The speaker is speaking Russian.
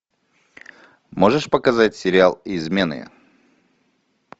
можешь показать сериал измены